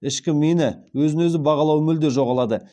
ішкі мені өзін өзі бағалауы мүлде жоғалады